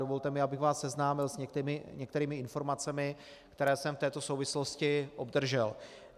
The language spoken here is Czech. Dovolte mi, abych vás seznámil s některými informacemi, které jsem v této souvislosti obdržel.